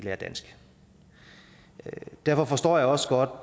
lærer dansk derfor forstår jeg også godt